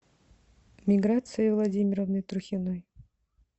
миграции владимировны трухиной